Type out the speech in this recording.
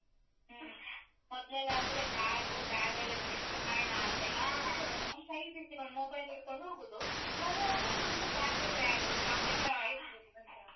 ಹ್ಮ್, ಮೊದ್ಲೆಲ್ಲಾ ಆದ್ರೆ bag, bag ಲ್ಲಿ ಒಂದಿಷ್ಟು ಹಣ ಅಂತ. ನಾನ್ ಕೈ ಬಿಸಿಕೊಂಡು mobile ಇಟ್ಕೊಂಡು ಹೋಗುದು, ಬರುವಾಗ full bag bag, shopping ಮಾಡಿ .